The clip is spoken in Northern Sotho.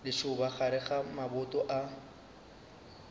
lešoba gare ga maboto a